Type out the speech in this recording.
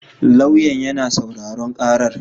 Lauyan yana sauraron karar